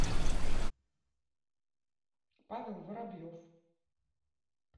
павел воробьев